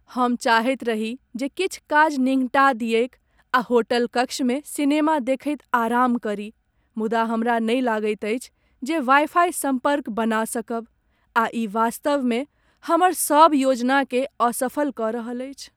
हम चाहैत रही जे किछु काज निङ्घटा दियैक आ होटलकक्षमे सिनेमा देखैत आराम करी मुदा हमरा नहि लगैत अछि जे वाइफाइ सम्पर्क बना सकब आ ई वास्तवमे हमर सब योजनाकेँ असफल कऽ रहल अछि।